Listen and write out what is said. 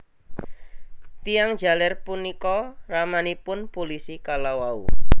Tiyang jaler punika ramanipun pulisi kalawau